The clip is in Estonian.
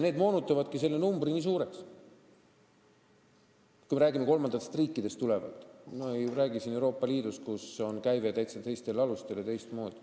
See moonutabki selle numbri nii suureks, kui me räägime kolmandatest riikidest tulevatest inimestest, sest me ei räägi Euroopa Liidust, kus arvestus on täitsa teistel alustel ja teistmoodi.